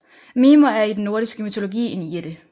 Mimer er i den nordiske mytologi en jætte